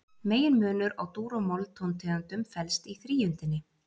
Meginmunur á dúr- og moll-tóntegundum felst í þríundinni.